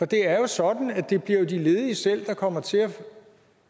det er jo sådan at det bliver de ledige selv der kommer til at